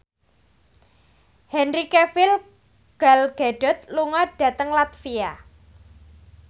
Henry Cavill Gal Gadot lunga dhateng latvia